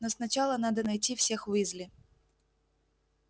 но сначала надо найти всех уизли